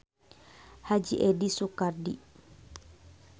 Haji Eddi Soekardi.